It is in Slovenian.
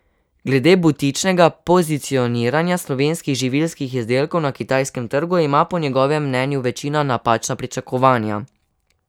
Glede butičnega pozicioniranja slovenskih živilskih izdelkov na kitajskem trgu ima po njegovem mnenju večina napačna pričakovanja.